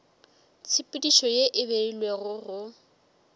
tshepedišo ye e beilwego go